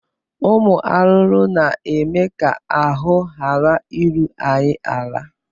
Ụmụ arụrụ na-eme ka ahụ ghara iru anyị ala